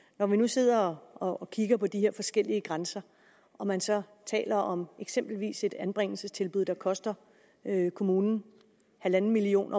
når vi nu sidder og kigger på de her forskellige grænser og man så taler om eksempelvis et anbringelsestilbud der koster kommunen en million